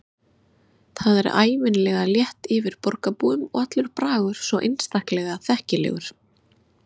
Það er ævinlega létt yfir borgarbúum og allur bragur svo einstaklega þekkilegur.